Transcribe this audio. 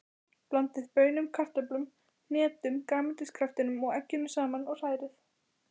Blandið baununum, kartöflunum, hnetunum, grænmetiskraftinum og egginu saman og hrærið.